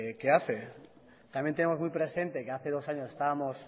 que hace también tenemos muy presente que hace dos años estábamos